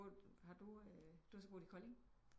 Bor har du eh du har så boet i Kolding